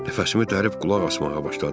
Nəfəsimi dərib qulaq asmağa başladım.